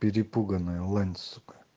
перепуганная лань сука